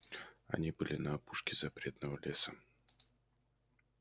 они были на опушке запретного леса